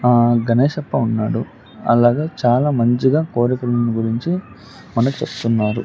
ఆ గణేష్ అప్ప ఉన్నాడు అలాగే చాలా మంచిగా కోరికల గురించి మనకు చెప్తున్నారు.